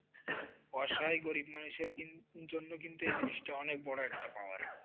বর্ষায় গরিব মানুষের জন্য এই জিনিসটা কিন্তু, অনেক বড় একটা পাওনা।